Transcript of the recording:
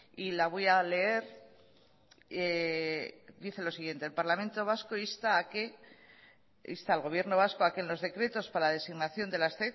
y la voy a leer dice lo siguiente el parlamento vasco insta al gobierno vasco a que en los decretos para la designación de las